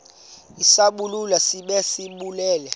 isibaluli sibe sisibaluli